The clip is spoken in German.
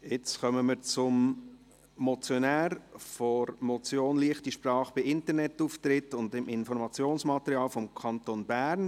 Jetzt kommen wir zum Motionär der Motion «Leichte Sprache beim Internetauftritt und im Informationsmaterial des Kantons Bern»